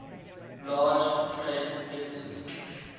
large trade deficit